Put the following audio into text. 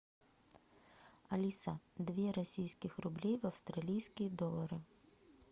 алиса две российских рублей в австралийские доллары